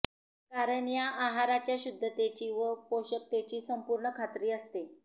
कारण या आहाराच्या शुध्दतेची व पोषकतेची संपूर्ण खात्री असते